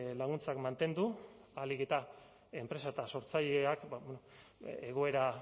laguntzak mantendu ahalik eta enpresa eta sortzaileak egoera